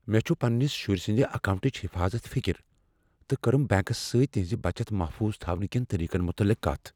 مےٚ چھ پننس شُرۍ سٕندِ اکاونٹٕچ حفاظتٕچ فکر تہٕ کٔرٕم بینکس سۭتۍ تہنز بچت محفوظ تھاونہٕ کین طریقن متعلق کتھ۔